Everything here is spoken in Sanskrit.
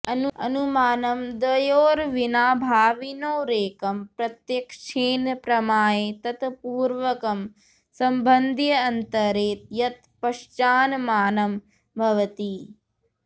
अनुमानं द्वयोरविनाभाविनोरेकं प्रत्यक्षेण प्रमाय तत्पूर्वकं सम्बन्द्यन्तरे यत् पश्चान्मानं भवति